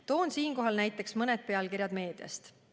Toon siinkohal näiteks mõned pealkirjad meediast.